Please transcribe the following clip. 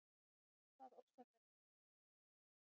hvað orsakar lágan blóðþrýsting